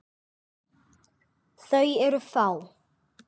Þau eru fá.